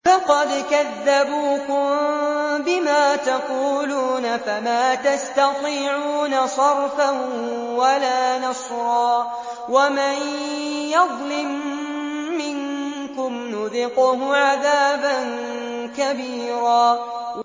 فَقَدْ كَذَّبُوكُم بِمَا تَقُولُونَ فَمَا تَسْتَطِيعُونَ صَرْفًا وَلَا نَصْرًا ۚ وَمَن يَظْلِم مِّنكُمْ نُذِقْهُ عَذَابًا كَبِيرًا